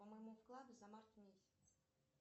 по моему вкладу за март месяц